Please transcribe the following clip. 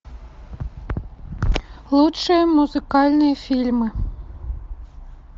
лучшие музыкальные фильмы